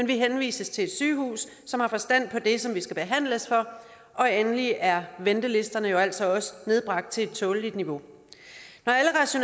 vi henvises til et sygehus som har forstand på det som vi skal behandles for endelig er ventelisterne jo altså også nedbragt til et tåleligt niveau når